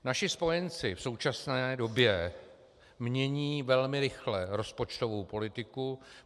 Naši spojenci v současné době mění velmi rychle rozpočtovou politiku.